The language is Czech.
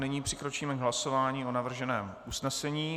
Nyní přikročíme k hlasování o navrženém usnesení.